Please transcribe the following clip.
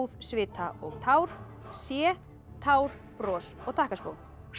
svita og tár c tár bros og takkaskó